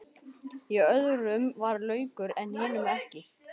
Í öðrum var laukur en hinum ekki.